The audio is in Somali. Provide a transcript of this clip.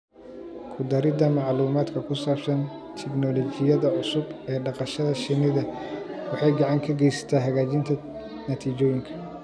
Ku daridda macluumaadka ku saabsan tignoolajiyada cusub ee dhaqashada shinnida waxay gacan ka geysataa hagaajinta natiijooyinka.